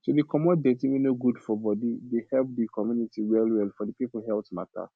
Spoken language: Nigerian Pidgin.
to dey comot dirty wey no good for body dey help di community well well for di people health mata